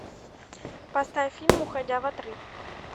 поставь фильм уходя в отрыв